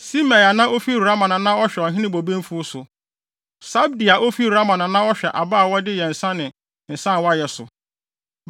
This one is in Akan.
Simei a na ofi Rama na na ɔhwɛ ɔhene bobe mfuw so. Sabdi a ofi Sifim na na ɔhwɛ aba a wɔde yɛ nsa ne nsa a wɔayɛ so.